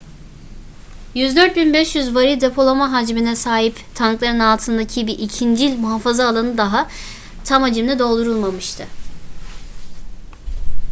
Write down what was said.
104.500 varil depolama hacmine sahip tankların altındaki bir ikincil muhafaza alanı daha tam hacimle doldurulmamıştı